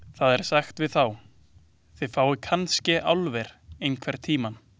Það er sagt við þá: Þið fáið kannske álver einhvern tíma.